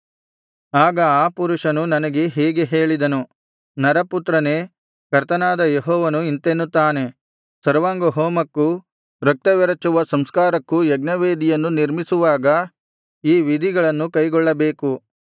ಆಗ ಆ ಪುರುಷನು ನನಗೆ ಹೀಗೆ ಹೇಳಿದನು ನರಪುತ್ರನೇ ಕರ್ತನಾದ ಯೆಹೋವನು ಇಂತೆನ್ನುತ್ತಾನೆ ಸರ್ವಾಂಗಹೋಮಕ್ಕೂ ರಕ್ತವೆರಚುವ ಸಂಸ್ಕಾರಕ್ಕೂ ಯಜ್ಞವೇದಿಯನ್ನು ನಿರ್ಮಿಸುವಾಗ ಈ ವಿಧಿಗಳನ್ನು ಕೈಗೊಳ್ಳಬೇಕು